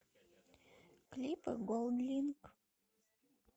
клипы голдлинк